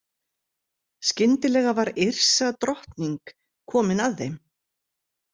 Skyndilega var Yrsa drottning komin að þeim.